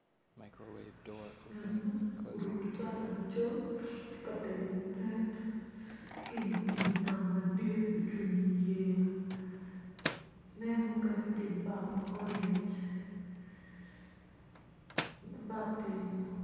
Ngat mo oruko cati macol tye katelo ngut cati mo ki pi nam madit ocungo i yeya net mukene tye i bap ma orange bap tye ingom.